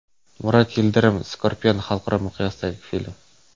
Murat Yildirim: Scorpion xalqaro miqyosdagi film.